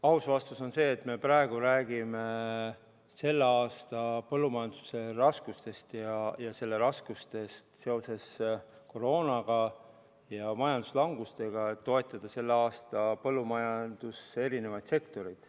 Aus vastus on see, et me praegu räägime selle aasta põllumajanduse raskustest seoses koroonaga ja majanduslangusega, et toetada sellel aastal põllumajandussektoreid.